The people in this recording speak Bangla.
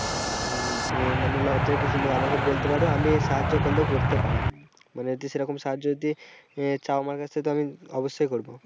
হম মানে লজ্জার কিছু নেই আমাকে বলতে পারো আমি সাহায্য করলেও করতে পারি মানে যদি সেরকম সাহায্য যদি চাও আমার কাছ থেকে তো আমি অবশ্যই করবো।